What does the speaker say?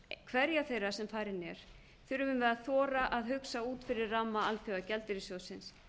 hverja þeirra sem farin er þurfum við að þora að hugsa út fyrir ramma alþjóðagjaldeyrissjóðsins